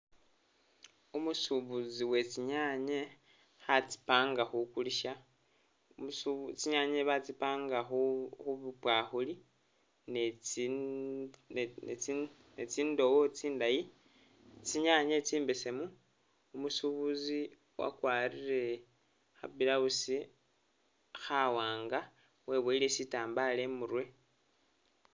Umusubuzi uwe tsi'nyanye khatsi'panga khukulisa, umusu.... tsinyanye batsi'panga khupwakhuli netsi.. netsi'ndowo tsindayi, tsinyanye tsimbesemu, umusubuzi wakwarire khabulawusi khawaanga weboyele sitambala i'murwe